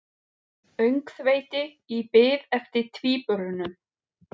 Öngþveiti í bið eftir tvíburunum